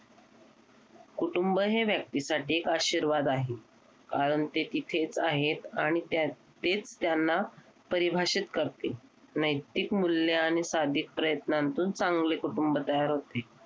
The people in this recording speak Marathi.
कुटुंब हे व्यक्ती साठी एक आशीर्वाद आहे. कारण ते इथेच आहेत आणि तेच त्यांना परिभाषित करते नैतिक मूल्य आणि सादिक प्रयत्नांतून चांगले कुटुंब तयार होते.